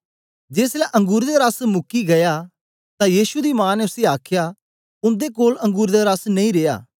जेसलै अंगुरें दा रस मुकी गीया तां यीशु दी मां ने उसी आखया उन्दे कोल अंगुरें दा रस नेई रेया